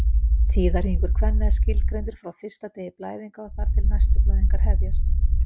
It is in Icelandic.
Tíðahringur kvenna er skilgreindur frá fyrsta degi blæðinga og þar til næstu blæðingar hefjast.